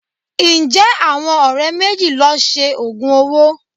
Ǹjẹ́ àwọn ọ̀rẹ́ méjì lọ Se òògùn owó?